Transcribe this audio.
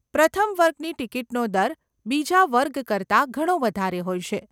પ્રથમ વર્ગની ટીકીટનો દર બીજા વર્ગ કરતાં ઘણો વધારે હોય છે.